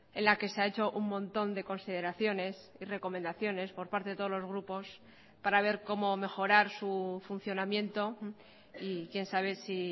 en la que se ha hecho un montón de consideraciones y recomendaciones por parte de todos los grupos para ver cómo mejorar su funcionamiento y quién sabe si